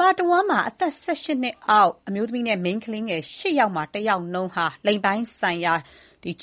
ဘာတဝန်း အသက် ၁၈ နှစ်အောက် အမျိုးသမီးနဲ့ မိန်းကလေးငယ် ၈ ယောက်မှာ တယောက်နှုန်းဟာ လိင်ပိုင်းဆိုင်ရာ